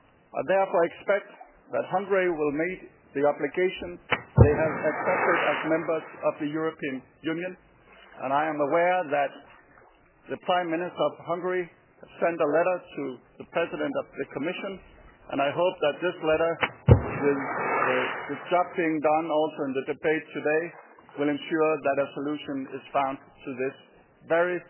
I therefore expect that Hungary will meet the obligation it has accepted as a Member of the European Union, and I am aware that the Prime Minister of Hungary has sent a letter to the President of the Commission. I hope that this letter, and the work being done also in the debate today, will ensure that a solution is found to this very